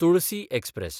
Tulsi express